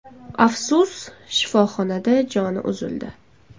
Afsus, shifoxonada joni uzildi.